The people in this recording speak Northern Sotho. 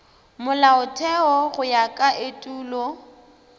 molaotheo go ya ka etulo